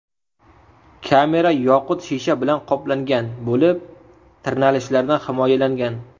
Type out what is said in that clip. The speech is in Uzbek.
Kamera yoqut shisha bilan qoplangan bo‘lib, tirnalishlardan himoyalangan.